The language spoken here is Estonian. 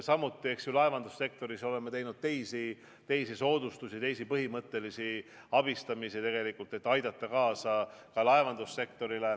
Samuti oleme laevandussektoris teinud teisi soodustusi, teisi põhimõttelisi abistamisi, et aidata ka laevandussektorit.